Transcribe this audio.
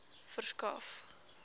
verskaf